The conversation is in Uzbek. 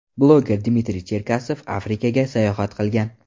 Bloger Dmitriy Cherkasov Afrikaga sayohat qilgan.